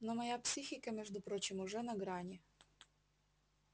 но моя психика между прочим уже на грани